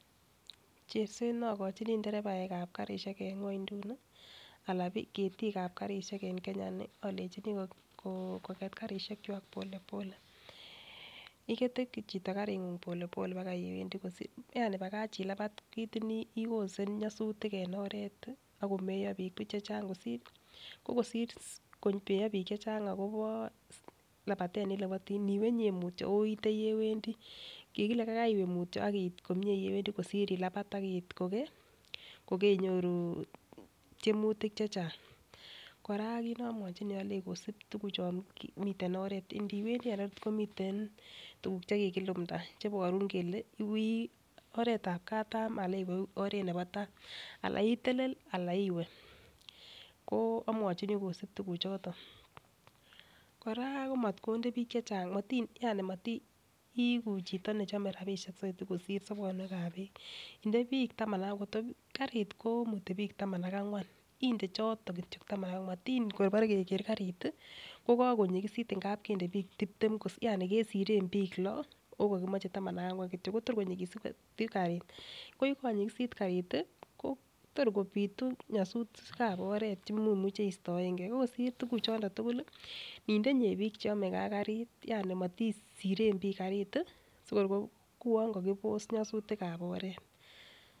Cherset ne ogochin nderebaek ab karisiek en ng'wonynduni, ala ketik ab karishek en Kenya ini alenchini koget karishek chwak pole pole igete chito karit pole pole baga ole iwendi. Yaani bagach ilabat kitin icausen nyasutik en oret ak komie biik buch chechang. Ko kosir komeyo biik chechang agobo labatet neiwendi, niwe inye mutyo ago iite yewendi. Kigile kaigai iwe mutyo ak iit komye yewendin kosir ilabat ak iit kogeinyoru tyemutik chechang. Kora kit nomwochin alenjini kosib tuguchon meten oret. Ndiwendi en oret komiten tuguk che kigilumda cheiborun kole oretab katam anan oret nebo tai, anan itelel anan iwe. Ko amwachini kosib tuguchoto. Kora komatkonde biik chechang, yaani motiigu chito ne chome rabishek soiti kosir sobonwek ab biik nde biik taman ak angwa. Ngot ko karit komuti biik taman ak angwan inde choton kityo taman ak angwan. Motin tor kebore keger karit kogonyigisit amun kende biik tibtem yaani kesiren biik lo okokimoche taman ak angwan kityo kotogor konyigisitu karit koyegonyigisit karit ii kotor kobitu nyosutik ab oret chegemuche istoenge. Ko kosir choton ko ninde inye biik che yome ge ak karit, yaani motisiren garit ii sikouwon kokibos nyasutik ab oret.